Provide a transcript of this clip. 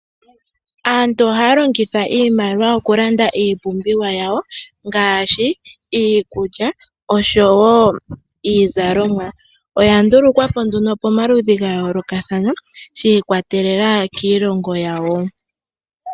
Aantu oha ya longitha iimaliwa oku landa iipumbiwa yawo ngaashi iikulya osho wo iizalomwa. Oya ndulukwa po nduno pamaludhi ga yoolokathana sha ikwatelela kiilongo yawo.